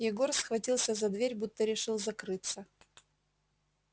егор схватился за дверь будто решил закрыться